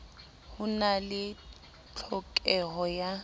ho na le tlhokeho ya